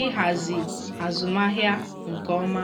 ịhazi azụmahịa nke ọma.